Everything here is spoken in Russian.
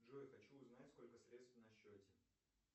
джой хочу узнать сколько средств на счете